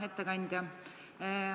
Hea ettekandja!